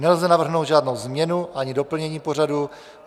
Nelze navrhnout žádnou změnu ani doplnění pořadu.